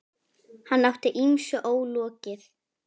Hann átti ýmsu ólokið.